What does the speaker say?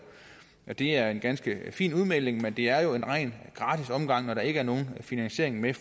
at det er en ganske fin udmelding men det er jo en ren gratis omgang når der ikke er nogen finansiering med